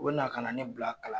U na ka na ne bila kalan